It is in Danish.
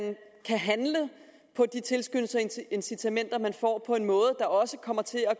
kan handle på de tilskyndelser og incitamenter man får på en måde der også kommer til at